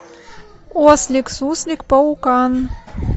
ослик суслик паукан